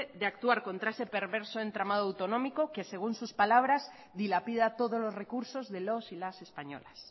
de actuar contra ese perverso entramado autonómico que según sus palabras dilapida todos los recursos de los y las españolas